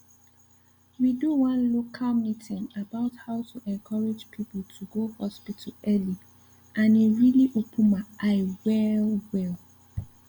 we do one local meeting about how to encourage people to go hospital early and e really open my eye well well